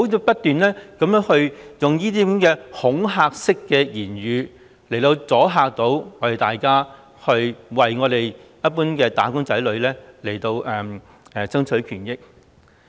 不要不斷用恐嚇式的言語，阻嚇大家為一般"打工仔女"爭取權益。